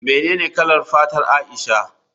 Menene kalar fatar Aisha?